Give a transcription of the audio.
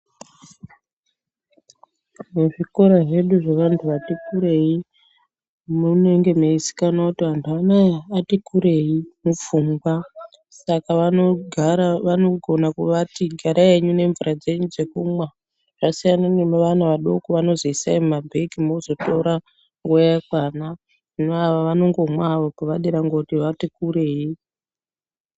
Muzvikora zvedu zvevanhu vati kurei, munenge mweizikanwa kuti antu ano aya ati kurei mupfungwa , saka vanogona kuvati garai henyu nemvura dzenyu dzekumwa zvasiyana nevana vadoko vanozwi isai mumabhegi mozotora nguwa yakwana. Hino ava vanongomwa hawo pevadira ngekuti vati kurei.